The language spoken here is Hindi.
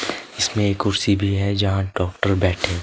इसमें कुर्सी भी है जहां डॉक्टर बैठे--